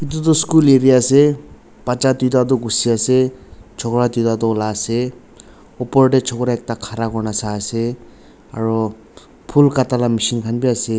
etu tho school area ase bacha tuita tho kusi ase chokra tuita tu olai ase upor de chokra ekta ghara kurina sai ase aro phool khata la machine kan b ase.